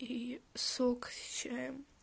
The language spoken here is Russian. и сок с чаем